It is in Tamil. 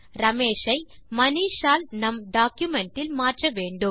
ரமேஷ் ஐ மனிஷ் ஆல் நம் டாக்குமென்ட் இல் மாற்ற வேண்டும்